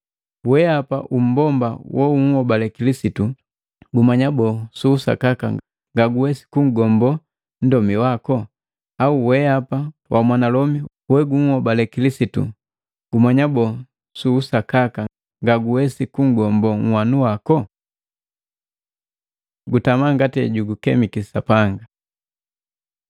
Weapa umbomba wounhobale Kilisitu, gumanya boo su usakaka ngaguwesi kunhgombo nndomi wako? Au weapa wamwanalomi wouhobale Kilisitu, gumanya boo su usakaka ngaguwesi kunhgombo uhwanu wako? Gutamaa ngati ejugukemiki Sapanga